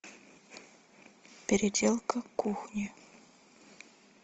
переделка кухни